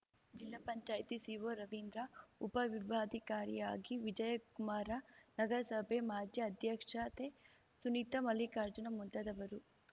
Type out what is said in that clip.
ಜಿಪಂ ಸಿಒ ರವೀಂದ್ರ ಉಪ ವಿಭಾಗಾಧಿಕಾರಿಯಾಗಿ ವಿಜಯಕುಮಾರ ನಗರಸಭೆ ಮಾಜಿ ಅಧ್ಯಕ್ಷತೆ ಸುನೀತ ಮಲ್ಲಿಕಾರ್ಜುನ ಮುಂತಾದವರು